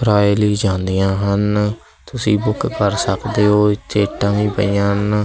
ਪਰਾਈਲੀ ਜਾਂਦੀਆਂ ਹਨ ਤੁਸੀਂ ਬੁੱਕ ਕਰ ਸਕਦੇ ਹੋ ਇਥੇ ਤਾਂਹੀ ਪਈਆਂ ਹਨ।